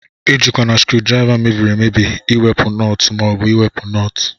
Ejikwana skrudriva mebiri emebi iwepu nọt ma obu iwepu nọt.